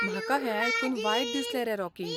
म्हाका हें आयकून वायट दिसलें रे, रॉकी.